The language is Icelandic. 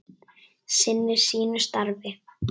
Sinnir sínu starfi.